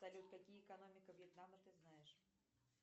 салют какие экономика вьетнама ты знаешь